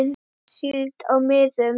Síld á miðum.